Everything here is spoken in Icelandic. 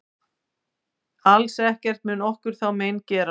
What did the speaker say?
Alls ekkert mun okkur þá mein gera.